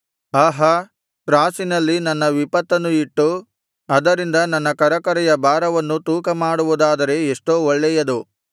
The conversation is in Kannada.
ಆಹಾ ತ್ರಾಸಿನಲ್ಲಿ ನನ್ನ ವಿಪತ್ತನ್ನು ಇಟ್ಟು ಅದರಿಂದ ನನ್ನ ಕರಕರೆಯ ಭಾರವನ್ನು ತೂಕ ಮಾಡುವುದಾದರೆ ಎಷ್ಟೋ ಒಳ್ಳೆಯದು